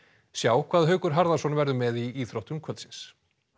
sjá hvað Haukur Harðarson verður með í íþróttum kvöldsins